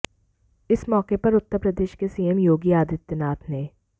इस मौके पर उत्तर प्रदेश के सीएम योगी आदित्यनाथ ने